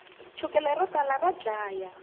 chukele ro tala ra dlaya